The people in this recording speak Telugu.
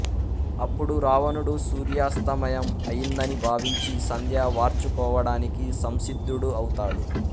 అప్పుడు రావణుడు సూర్యాస్తమయం అయిందని భావించి సంధ్య వార్చుకోవడానికి సంసిద్ధుడు అవుతాడు